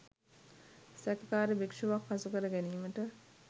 සැකකාර භික්ෂුවක් හසු කර ගැනීමට